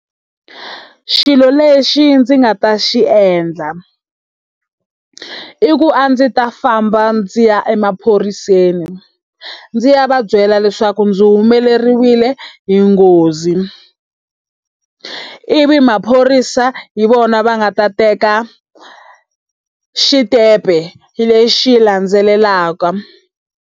I xilo lexi ndzi nga ta xi endla, i ku a ndzi ta famba ndzi ya emaphoriseni ndzi ya va byela leswaku ndzi humelerile hi nghozi. Ivi maphorisa hi vona va nga ta teka xitempe lexi landzelaka.